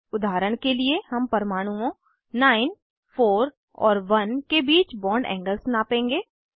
उदाहरण के लिए हम परमाणुओं 9 4 और 1 के बीच बॉन्ड एंगल्स नापेंगे